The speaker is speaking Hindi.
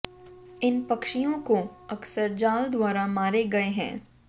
इन पक्षियों को अक्सर जाल द्वारा मारे गए हैं